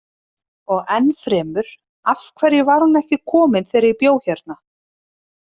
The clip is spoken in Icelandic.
Og ennfremur: Af hverju var hún ekki komin þegar ég bjó hérna?